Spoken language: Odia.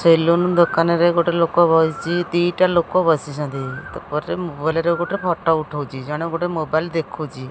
ସେଲୁନ ଦୋକାନରେ ଗୋଟେ ଲୋକ ବସିଛି ଦିଟା ଲୋକ ବସଛନ୍ତି ମୋବାଇଲ୍ ରେ ଗୋଟେ ଫଟୋ ଉଠାଉଚି ଜଣେ ଗୋଟେ ମୋବାଇଲ୍ ଦେଖୁଛି।